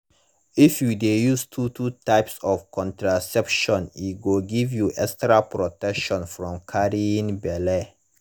if you de use two two types of contraception e go give you extra protection from carrying belle